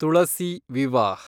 Tulasi Vivah